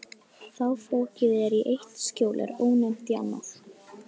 Þá fokið er í eitt skjól er ófennt í annað.